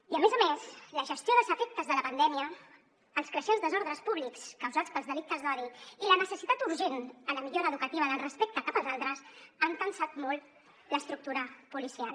i a més a més la gestió dels efectes de la pandèmia els creixents desordres públics causats pels delictes d’odi i la necessitat urgent en la millora educativa en el respecte cap als altres han tensat molt l’estructura policial